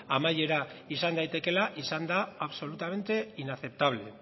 amaiera izan daitekeela izan da absolutamente inaceptable